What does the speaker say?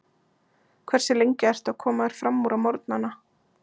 Hversu lengi ertu að koma þér framúr á morgnanna?